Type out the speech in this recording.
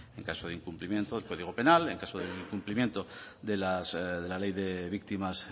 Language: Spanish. en caso de incumplimiento el código penal en caso de incumplimiento de la ley